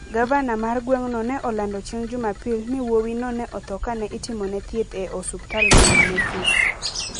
Gavana mar gweng'no ne olando chieng' Jumapil ni wuowino ne otho ka ne itimone thieth e osiptal man Memphis.